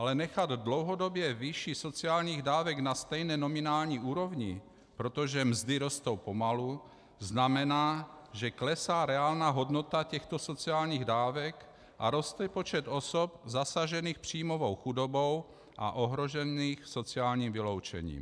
Ale nechat dlouhodobě výši sociálních dávek na stejné nominální úrovni, protože mzdy rostou pomalu, znamená, že klesá reálná hodnota těchto sociálních dávek a roste počet osob zasažených příjmovou chudobou a ohrožených sociálním vyloučením.